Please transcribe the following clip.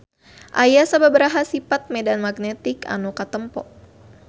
Aya sababaraha sifat medan magnetik anu katempo.